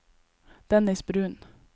Dennis Bruun